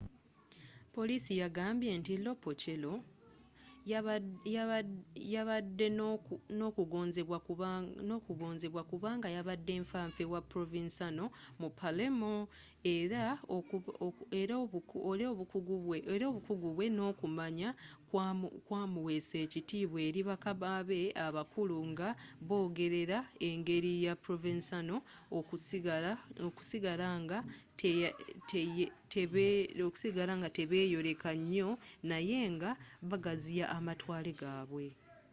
poliisi yagambye nti lo piccolo yabadde n'okugonzebwa kubanga yabadde nfa nfe wa provenzano mu palermo era obukuggu bwe n'okumanya kwamuweesa ekitibwa eri bakama be abakulu nga bagoberera engeri ya provenzano okusigala nga tebeyoleka nyo naye nga bagaziya amatwale gabwe